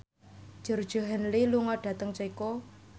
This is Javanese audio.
Georgie Henley lunga dhateng Ceko